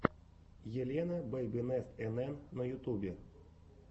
елена бэйбинест энэн на ютубе